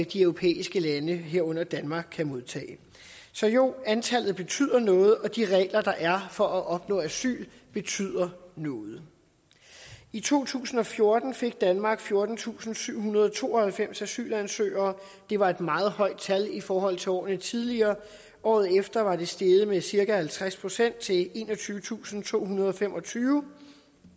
de europæiske lande herunder danmark kan modtage så jo antallet betyder noget og de regler der er for at opnå asyl betyder noget i to tusind og fjorten fik danmark fjortentusinde og syvhundrede og tooghalvfems asylansøgere det var et meget højt tal i forhold til årene tidligere året efter var det steget med cirka halvtreds procent til enogtyvetusinde og tohundrede og femogtyve